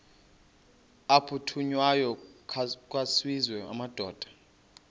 aphuthunywayo kwaziswe amadoda